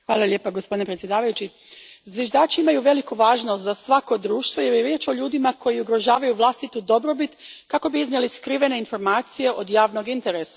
Gospodine predsjedniče, zviždači imaju veliku važnost za svako društvo jer je riječ o ljudima koji ugrožavaju vlastitu dobrobit kako bi iznijeli skrivene informacije od javnog interesa.